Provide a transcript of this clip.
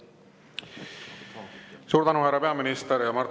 Suur tänu, härra peaminister!